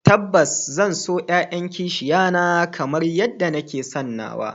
Tabbas zan so 'ya'yan kishiya na kamar yadda nake son nawa